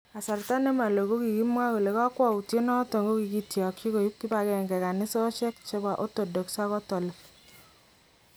Kasarta nemaloo kokimwaa kole kakwautiet noton kokitakyin koib kipagenge kanisosyeek chebo Orthodox ak katolik